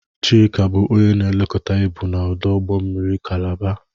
Chika bụ onye nlekọta ibu na ọdụ ụgbọ mmiri Kalaba.